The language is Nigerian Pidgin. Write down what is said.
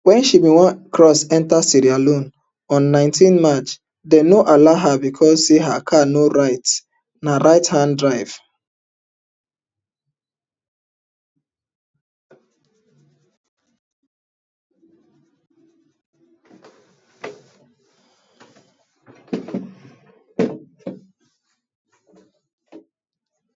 wen she bin wan cross enta sierra leone on nineteen march dem no allow her becos say her car na right hand drive